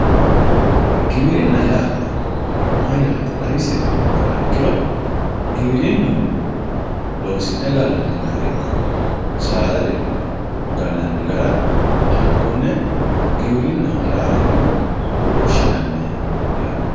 Giwirinna yaa mayyate xawisie yoottoha ikkiro giwirinu loosi'ne gallanni gara ikko saada ce'ne gallanni gara hakkone giwirinaho yaateni woshshinanni yaate.